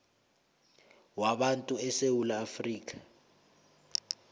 wabantu esewula afrika